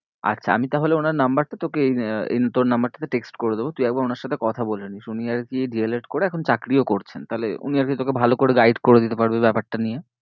আচ্ছা আমি তাহলে ওনার number টা তোকে এই উম তোর number টা তে text করে দেব তুই একবার ওনার সাথে কথা বলে নিস উনি আরকি D. el. ed. করে এখন চাকরিও করছেন তাহলে উনি আর কি তোকে ভালো করে guide করে দিতে পারবে ব্যাপারটা নিয়ে।